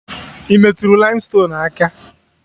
Ị metụrụ laimstonuu aka?